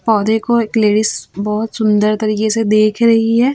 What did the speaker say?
पौधे को एक लेडिस बहोत सुंदर तरीके से देख रही है।